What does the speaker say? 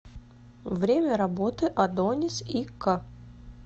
время работы адонис и к